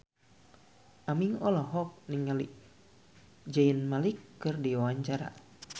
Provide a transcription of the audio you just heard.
Aming olohok ningali Zayn Malik keur diwawancara